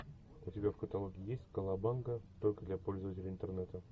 у тебя в каталоге есть калабанга только для пользователей интернета